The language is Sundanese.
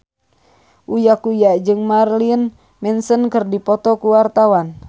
Uya Kuya jeung Marilyn Manson keur dipoto ku wartawan